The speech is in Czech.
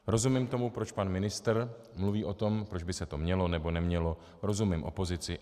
Rozumím tomu, proč pan ministr mluví o tom, proč by se to mělo nebo nemělo, rozumím opozici.